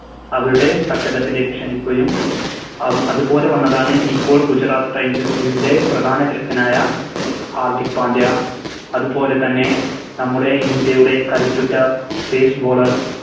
അവരുടെ തട്ടകത്തിലേക്ക് ക്ഷണിക്കുകയും അഹ് അതുപോലെ വന്നതാണ് ഇപ്പോൾ Gujarat titans ൻറെ പ്രധാന Captain ആയ ഹർദിക് പാണ്ഡ്യാ അത് പോലെത്തന്നെ നമ്മുടെ ഇന്ത്യയുടെ കരുത്തുറ്റ Base bowler